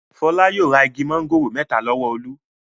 Fọlá yóò ra igi máńgòrò mẹ́ta lọ́wọ́ Olú.